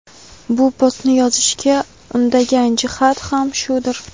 bu postni yozishga undagan jihat ham shudir.